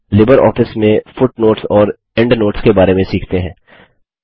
अब लिबरऑफिस में फुटनोट्स और एंडनोट्स के बारे में सीखते हैं